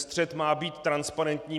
Střet má být transparentní.